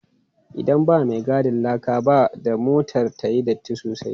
Idan ba mai gadin laka ba, da motar ta yi datti sosai.